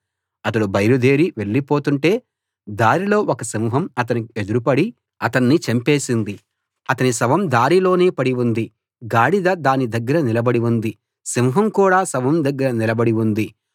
అతడు బయలుదేరి వెళ్లి పోతుంటే దారిలో ఒక సింహం అతనికి ఎదురుపడి అతన్ని చంపేసింది అతని శవం దారిలోనే పడి ఉంది గాడిద దాని దగ్గర నిలబడి ఉంది సింహం కూడా శవం దగ్గర నిలబడి ఉంది